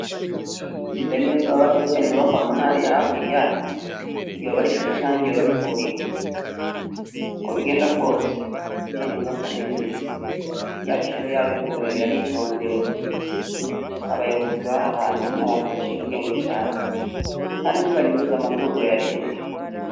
Mbe Niyonsaba iriya nyubakwa mbona hariya hakurya ryobari ishure canke ryobari ivuriro ukobigenda kose iriyanyubakwa ninziza yabishure yabivuriro yaritondewe abayobozi bahahantu nabantu baciye ubwenge cane kandi ntibanyuruza amatungo ya reta